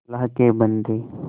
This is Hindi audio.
अल्लाह के बन्दे